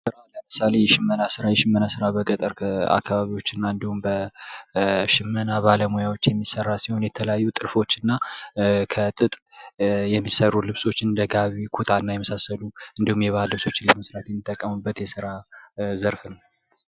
ለምሳሌ የሽመና ሥራ የሸመና ሥራ በገጠር አካባቢዎች እና እንዲሁም በሸመና ባለሙያዎች የሚሠራ ሲሆን የተለያዩ ጥልፎችና ከጥጥ የሚሰሩ ልብሶችን እንደ ጋቢ ኮታና የመሳሰሉ እንዲሁም የበዓል ልብሶችን ለመስራት የምንጠቀምበት የስራ ዘርፍ ነው ::